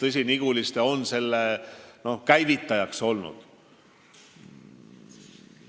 Tõsi, Niguliste on selle asja käivitajaks olnud.